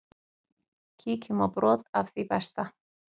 Kíkjum á brot af því besta.